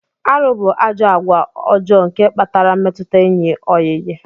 Arụ bu ajọ agwa ọjọ nke kpatara mmetụta enyi oyiyi.